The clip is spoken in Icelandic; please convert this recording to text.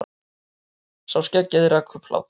Sá skeggjaði rak upp hlátur.